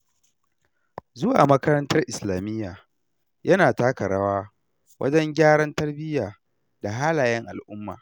Zuwa makarantar islamiyya, yana taka rawa wajen gyaran tarbiyya da halayen al'umma.